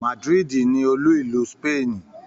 Madrid ni olú ìlú Spain